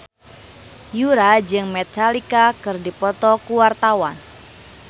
Yura jeung Metallica keur dipoto ku wartawan